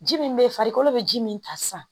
Ji min bɛ ye farikolo bɛ ji min ta sisan